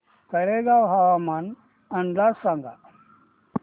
तळेगाव हवामान अंदाज सांगा